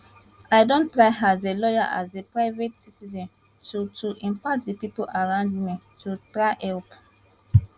i don try as a lawyer as a private citizen to to impact di pipo around me to try help